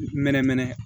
Mɛnɛmɛnɛ